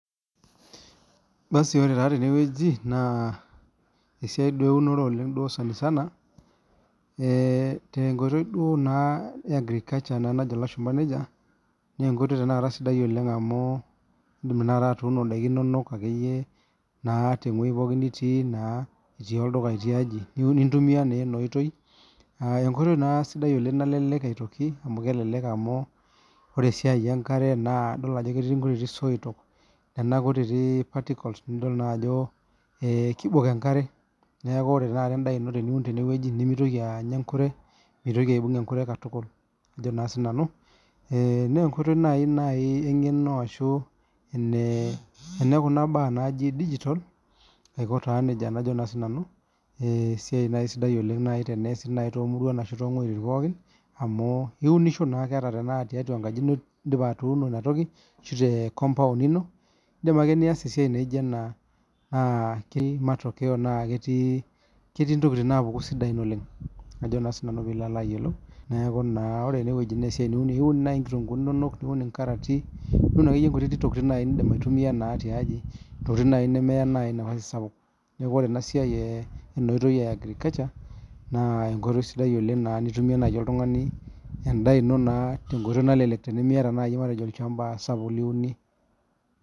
Nasi ore tenewueji na esiai eunoro sanasana tenkoitoi e agriculture neenkoitoibsidai oleng amu indim atuuno endaa ino natewoi pooki nitii itii olduka na intumia enoitoi enkoitoi na sidai nalelek aitoki amu kelek amubore esiai enkare na ketii soitok kutitik netii particles nakeya endaino mitoki aibung enkure nenkoitoibnaibengeno ashu nekuna baa naji digital aiko neji najo na sinanu esiai sidai teneasu tomuruan ashuto weitin pooki amu iunisho na ata ana tiatua enkaji ino indipa atuuno inatoki ashu te compound ino nijo ena ketii ntokitin napuku oleng pilo alo ayiolouneaku na ore enasiai teniun nai nkomputani inonok niun inkarati niun ntokitin nindim aitumia tiaji ntokitin nemeya ewoi sapuk ore enasia enaoitoi e agriculture na enkoitoi sidai nai nitumie oltungani endaa ino tenkoitoi nalelek tenimiata nai olchamba sapuk liunie.